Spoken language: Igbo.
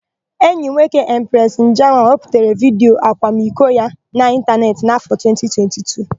Enyi nwoke Empresị Njama wepụtara vidiyo akwamiko ya na ịntanetị n'áfọ̀ 2022.